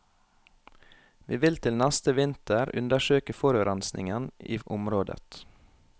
Vi vil til neste vinter undersøke forurensingen i området.